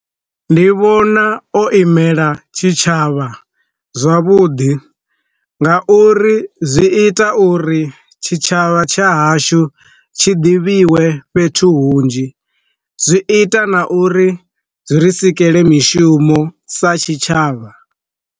Ndi vhona o imela tshitshavha zwavhuḓi, nga uri zwi ita uri tshitshavha tsha hashu tshi ḓivhiwe fhethu hunzhi, zwi ita na uri zwi re kusikelwe mishumo sa tshitshavha.